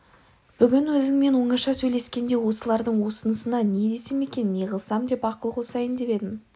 бүгін өзіңмен оңаша сөйлескенде осылардың осынысына не десем екен неғылсам деп ақыл қосайын деп едім